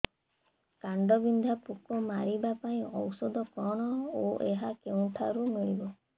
କାଣ୍ଡବିନ୍ଧା ପୋକ ମାରିବା ପାଇଁ ଔଷଧ କଣ ଓ ଏହା କେଉଁଠାରୁ ମିଳିବ